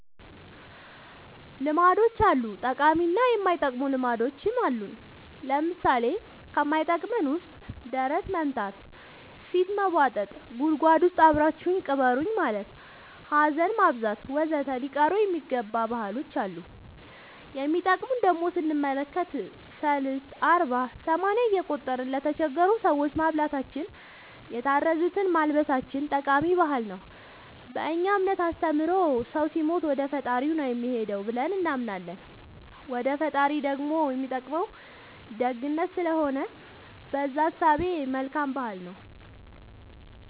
ልማዶች አሉ ጠቃሚ እና የማይጠቅሙ ልማዶች አሉን ለምሳሌ ከማይጠቅመን ውስጥ ደረት መምታ ፊት መቦጠጥ ጉድጎድ ውስጥ አብራችሁኝ ቅበሩኝ ማለት ሀዘን ማብዛት ወዘተ ሊቀሩ የሚገባ ባህሎች አሉ የሚጠቅሙን ደሞ ስንመለከት ሰልስት አርባ ሰማንያ እየቆጠርን ለተቸገሩ ሰዎች ማብላታችን የታረዙትን ማልበሳችን ጠቃሚ ባህል ነው በእኛ እምነት አስተምሮ ሰው ሲሞት ወደፈጣሪው ነው የሚሄደው ብለን እናምናለን ወደ ፈጣሪው ደሞ የሚጠቅመው ደግነት ስለሆነ በእዛ እሳቤ መልካም ባህል ነው